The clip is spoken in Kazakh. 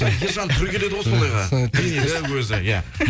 ержан түрі келеді ғой сондайға денелі өзі иә